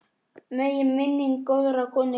Megi minning góðrar konu lifa.